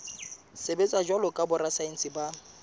sebetsa jwalo ka borasaense ba